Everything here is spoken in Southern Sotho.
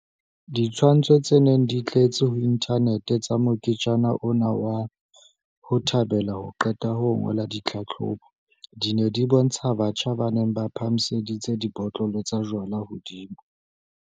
Ditshwantsho tse neng di tletse ho inthanete tsa moketjana ona wa 'ho thabela ho qeta ho ngola ditlhahlobo', di ne di bontsha batjha ba neng ba phahamiseditse dibotlolo tsa jwalo hodimo.